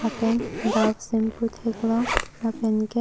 lapen dak shampoo theklong lapen ke--